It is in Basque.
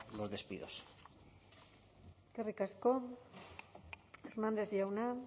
los despidos eskerrik asko hernández jauna